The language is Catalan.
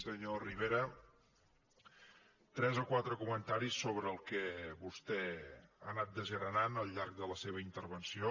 senyor rivera tres o quatre comentaris sobre el que vostè ha anat desgranant al llarg de la seva intervenció